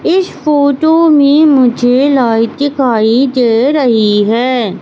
इस फोटो में मुझे लाइट दिखाई दे रही है।